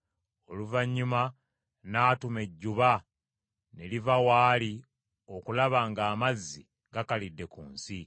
Oluvannyuma n’atuma ejjuba ne liva w’ali okulaba ng’amazzi gakalidde ku nsi;